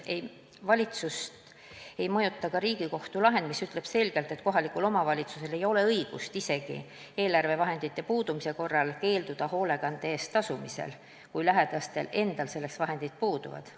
Valitsust ei mõjuta ka Riigikohtu lahend, mis ütleb selgelt, et kohalikul omavalitsusel ei ole õigust isegi eelarvevahendite puudumise korral keelduda hoolekande eest tasumisest, kui lähedastel selleks vahendid puuduvad.